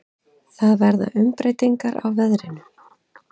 Það verða umbreytingar í veðrinu.